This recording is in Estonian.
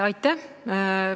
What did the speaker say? Aitäh!